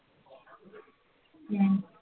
हम्म